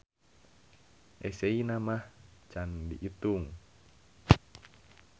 Eseyna mah can diitung.